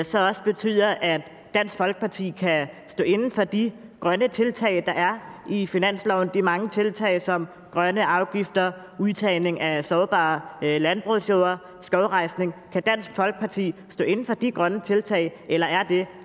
så også betyder at dansk folkeparti kan stå inde for de grønne tiltag der er i finansloven de mange tiltag som grønne afgifter udtagning af sårbare landbrugsjorder og skovrejsning kan dansk folkeparti stå inde for de grønne tiltag eller er det